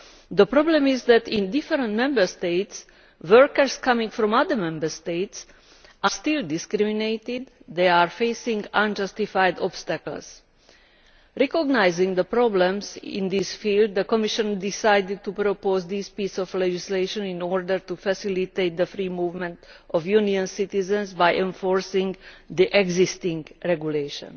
The problem is that in different Member States, workers coming from other Member States are still discriminated against and are facing unjustified obstacles. Recognising the problems in this field, the Commission decided to propose this piece of legislation in order to facilitate the free movement of Union citizens by enforcing the existing regulation.